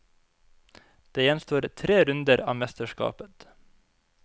Det gjenstår tre runder av mesterskapet.